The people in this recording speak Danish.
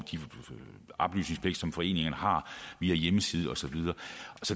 den oplysningspligt som foreningerne har via hjemmesider og så videre